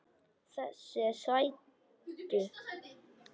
Þessir sætu!